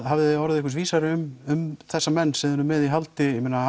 hafið þið orðið einhvers vísari um þessa menn sem þið eruð með í haldi ég meina